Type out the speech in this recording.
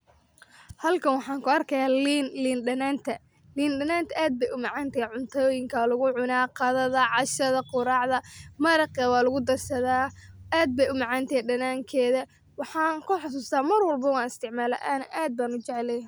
Halkan waxan kuarka liin danantaa oo waxa lugucuna cuntoyinka qudarta maraqa walugudarsada aa ayey umacanta waxan kuxasusta aad aya ujeclyahay.